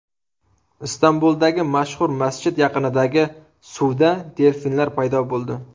Istanbuldagi mashhur masjid yaqinidagi suvda delfinlar paydo bo‘ldi.